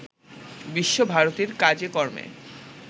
বিশ্বভারতীর কাজেকর্মে